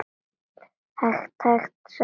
Hægan, hægan sagði amma.